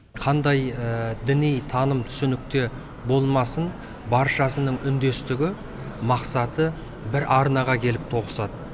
қандай діни таным түсінікте болмасын баршасының үндестігі мақсаты бір арнаға келіп тоғысады